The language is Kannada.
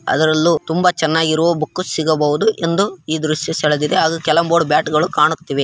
ಅದ್ರಲ್ಲೂ ತುಂಬಾ ಚೆನ್ನಾಗಿ ಇರುವ ಬುಕ್‌ ಸಿಗಬಹುದು ಎಂದು ಈ ದೃಶ್ಯ ಸೆಳೆದಿದೆ ಆದರೆ ಬ್ಯಾಟ್‌ಗಳು ಕಾಣುತ್ತಿವೆ.